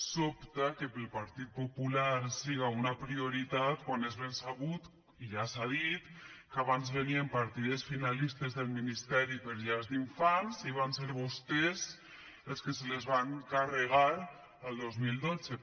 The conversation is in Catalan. sobta que per al partit popular siga una prioritat quan es ben sabut i ja s’ha dit que abans venien partides finalistes del ministeri per a llars d’infants i van ser vostès els que se les van carregar el dos mil dotze